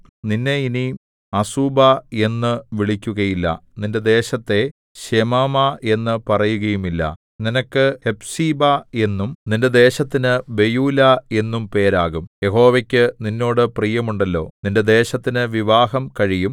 നിന്നെ ഇനി അസൂബാ എന്നു വിളിക്കുകയില്ല നിന്റെ ദേശത്തെ ശെമാമാ എന്നു പറയുകയുമില്ല നിനക്ക് ഹെഫ്സീബാ എന്നും നിന്റെ ദേശത്തിന് ബെയൂലാ എന്നും പേര് ആകും യഹോവയ്ക്കു നിന്നോട് പ്രിയമുണ്ടല്ലോ നിന്റെ ദേശത്തിന് വിവാഹം കഴിയും